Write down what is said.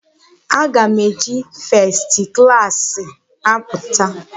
Aga m eji festi klaasị apụta.